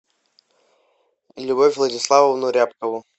любовь владиславовну рябкову